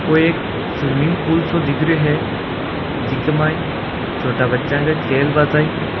ओ एक swimming pool सो दिख रो है जिक माई छोटा बच्चा का खेल बा ताई --